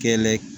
Kɛlɛ